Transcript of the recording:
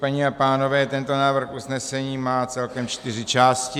Paní a pánové, tento návrh usnesení má celkem čtyři části.